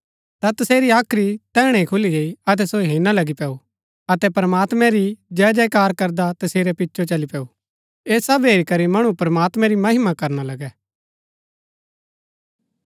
ता तसेरी हाख्री तैहणै ही खुली गई अतै सो हेरणा लगी पैऊ अतै प्रमात्मैं री जयजयकार करदा तसेरै पिचो चली पैऊ ऐह सब हेरी करी मणु प्रमात्मैं री महिमा करणा लगै